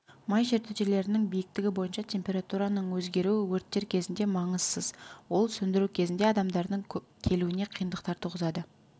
май жертөлелерінің биіктігі бойынша температураның өзгеруі өрттер кезінде маңызсыз ол сөндіру кезінде адамдардың келуіне қиындықтар туғызады